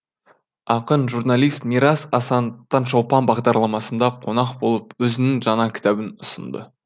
ақын журналист мирас асан таңшолпан бағдарламасында қонақ болып өзінің жаңа кітабын ұсынды